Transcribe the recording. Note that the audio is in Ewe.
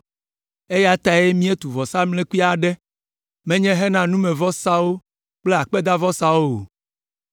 eya tae míetu vɔsamlekpui aɖe, menye hena numevɔsawo alo akpedavɔsawo o,